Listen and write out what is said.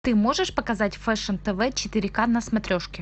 ты можешь показать фэшн тв четыре ка на смотрешке